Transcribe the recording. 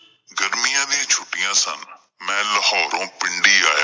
ਗਰਮੀਆਂ ਦਿਆਂ ਛੁੱਟੀਆਂ ਸਨ। ਮੈਂ ਲਾਹੋਰੋ ਪਿੰਡੀ ਆਇਆ।